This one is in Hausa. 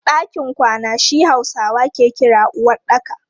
Ɗakin kwana shi Hausawa ke kira uwaɗɗaka.